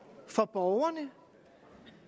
for borgerne